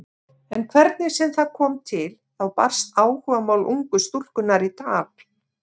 En hvernig sem það kom til þá barst áhugamál ungu stúlkunnar í tal.